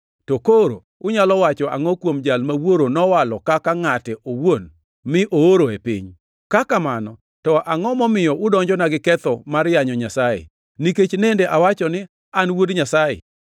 to koro unyalo wacho angʼo kuom Jal ma Wuoro nowalo kaka Ngʼate owuon mi ooro e piny? Ka kamano, to angʼo momiyo udonjona gi ketho mar yanyo Nyasaye, nikech nende awacho ni, ‘An Wuod Nyasaye’?